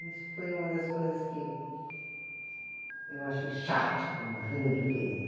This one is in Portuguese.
Isso foi uma das coisas que eu achei chato quando ele fez né.